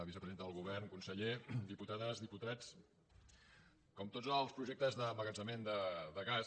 vicepresidenta del govern conseller dipu tades diputats com tots els projectes d’emma·gatzemament de gas